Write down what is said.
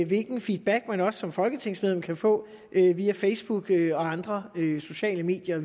hvilken feedback man også som folketingsmedlem kan få via facebook og andre sociale medier og